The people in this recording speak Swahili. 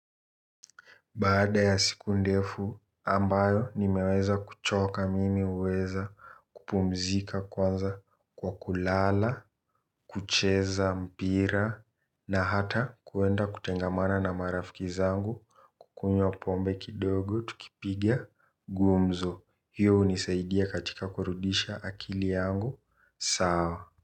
Baada ya siku ndefu ambayo nimeweza kuchoka mimi huweza kupumzika kwanza kwa kulala kucheza mpira na hata kuenda kutengamana na marafiki zangu kunywa pombe kidogo tukipiga gumzo hiyo hunisaidia katika kurudisha akili yangu sawa.